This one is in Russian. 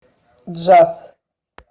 джаз